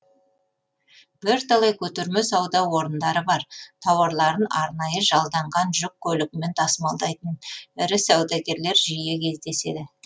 бірталай көтерме сауда орындары бар тауарларын арнайы жалданған жүк көлігімен тасымалдайтын ірі саудагерлер жиі кездеседі